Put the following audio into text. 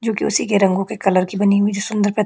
जो की उसी के रंगो की कलर की बनी हुई है जो की सुंदर प्रतीत--